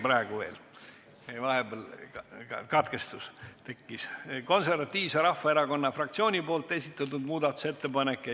Praegu on veel 22. muudatusettepanek – meil vahepeal tekkis katkestus – ja see on Eesti Konservatiivse Rahvaerakonna fraktsiooni esitatud muudatusettepanek.